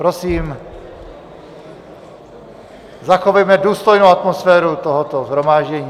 Prosím, zachovejme důstojnou atmosféru tohoto shromáždění.